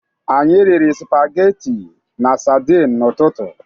Anyị riri spageti na sadin n'ụtụtụ.